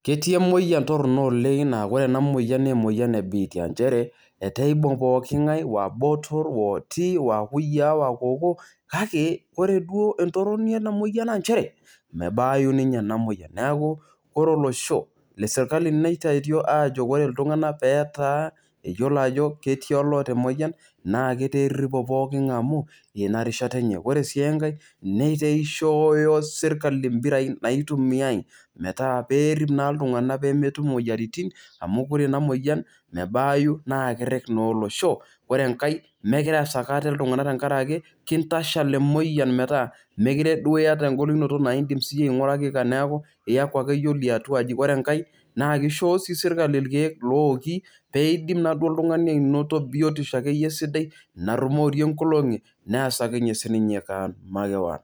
ketii emoyian torono oleng' naa kore ena moyian naa emoyian ee biitia inchere etaa eibung' pooki ng'ae aa botor aa okiti aa kuyiaa aa kokoo, kake ore duo entoroni ena moyiana naa nchere, mebaayu ninye ena moyian neaku ore olosho le sirkali neitayutuo aajo ore iltung'ana pee etaa eyiolo ajo etii oloota emoyian naa etea eripo ng'ae amuu ina rishata enye. ore sii enkae nataa eishooyo sirkalii imbirai naitumiai meta pee erip naa iltung'anak pee metum imoyiaritin amu ore ena moyian mebaayu naa keret naa olosho . ore enkae meekure easaki ate iltung'anak tenkaraki kintashal emoyian metaa meekure duo iyata enkolunoto naa indim aing'uraki kewon neaaku iyaku ake iyie ole atu aji ore enkae naa keishoyo sii sirkali irkeek looki pee indimnaa duo oltung'ani biotisho ake iyie sidai narumorie inkolong'i naasakinye sii ninye kewon makewon